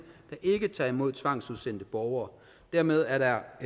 der ikke tager imod tvangsudsendte borgere dermed er der